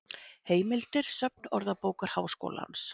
Heimildir Söfn Orðabókar Háskólans.